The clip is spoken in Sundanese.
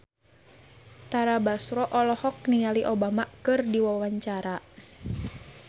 Tara Basro olohok ningali Obama keur diwawancara